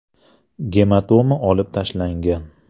Gematoma olib tashlangan.